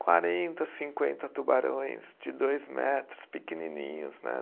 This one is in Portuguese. Quarenta, cinquenta tubarões de dois metros, pequenininhos, né?